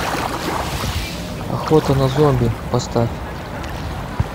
охота на зомби поставь